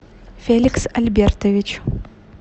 феликс альбертович